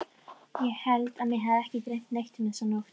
Ég held að mig hafi ekki dreymt neitt þessa nótt.